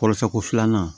Kɔrɔsɛn ko filanan